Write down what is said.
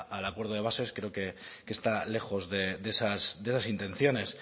al acuerdo de bases creo que está lejos de esas intenciones